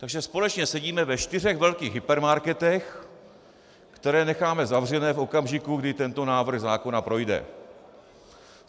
Takže společně sedíme ve čtyřech velkých hypermarketech, které necháme zavřené v okamžiku, kdy tento návrh zákona projde.